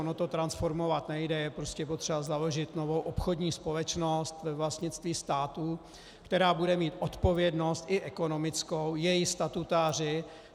Ono to transformovat nejde, je prostě potřeba založit novou obchodní společnost ve vlastnictví státu, která bude mít odpovědnost, i ekonomickou, její statutáři.